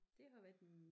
Det har været en